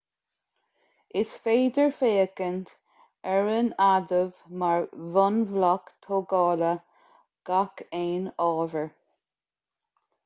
is féidir féachaint ar an adamh mar bhunbhloc tógála gach aon ábhair